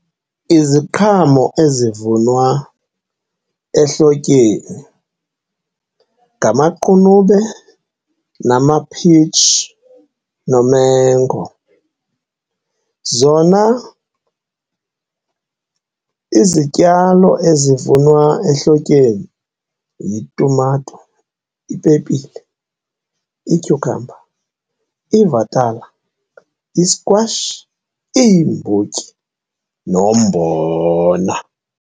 Iziqhamo ezivunwa ehlotyeni ngamaqunube, namaphitsi, nomengo. Zona izityalo ezivunwa ehlotyeni yitumato, ipepile, ityhukhamba, ivatala, iskwashi, iimbotyi nombona.